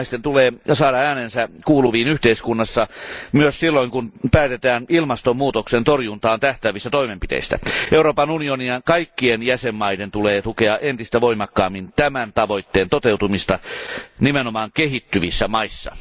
Naisten tulee saada äänensä kuuluviin yhteiskunnassa myös silloin, kun päätetään ilmastonmuutoksen torjuntaan tähtäävistä toimenpiteistä. Euroopan unionin kaikkien jäsenvaltioiden tulee tukea entistä voimakkaammin tämän tavoitteen toteutumista nimenomaan kehittyvissä maissa.